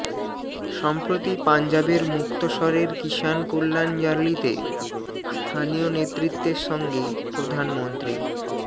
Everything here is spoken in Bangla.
সম্প্রতি পাঞ্জাবের মুক্তসরের কিসান কল্যাণ র্যালিতে স্থানীয় নেতৃত্বের সঙ্গে প্রধানমন্ত্রী